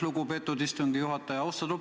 Lugupeetud istungi juhataja!